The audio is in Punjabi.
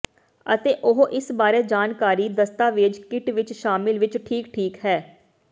ਅਤੇ ਉਹ ਇਸ ਬਾਰੇ ਜਾਣਕਾਰੀ ਦਸਤਾਵੇਜ਼ ਕਿੱਟ ਵਿੱਚ ਸ਼ਾਮਿਲ ਵਿੱਚ ਠੀਕ ਠੀਕ ਹੈ